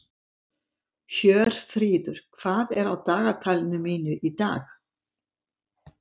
Hjörfríður, hvað er á dagatalinu mínu í dag?